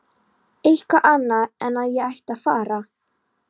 Eitthvað annað en að ég ætti að fara.